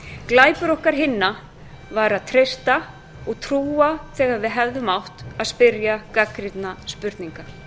glæpur okkar hinna var að treysta og trúa þegar við áttum að spyrja gagnrýninna spurninga